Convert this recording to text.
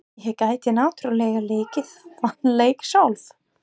Ég gæti náttúrlega leikið þann leik sjálf.